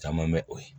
Caman bɛ o ye